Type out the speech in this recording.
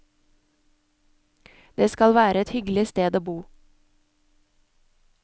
Det skal være et hyggelig sted å bo.